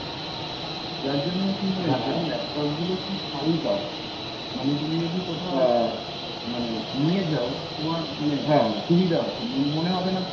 যার জন্য কি হয়েছে , laptop গুলো খুব হালকা ও। মানে তুমি যদি কোথাও মানে নিয়ে যাও , তোমার মানে সুবিধা হবে। মনে হবে না ,